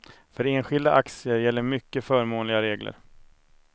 För enskilda aktier gäller mycket förmånliga regler.